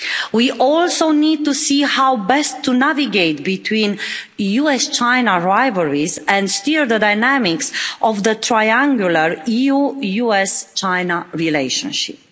We also need to see how best to navigate between US-China rivalries and steer the dynamics of the triangular EU-US-China relationship.